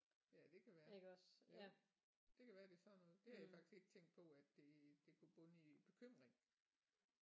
Ja det kan være jo det kan være det er sådan noget. Det har jeg faktisk ikke tænkt på at det det kunne bunde i bekymring